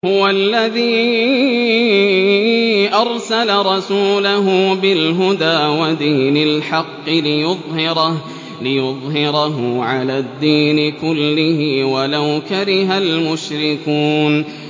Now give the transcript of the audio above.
هُوَ الَّذِي أَرْسَلَ رَسُولَهُ بِالْهُدَىٰ وَدِينِ الْحَقِّ لِيُظْهِرَهُ عَلَى الدِّينِ كُلِّهِ وَلَوْ كَرِهَ الْمُشْرِكُونَ